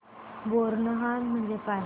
बोरनहाण म्हणजे काय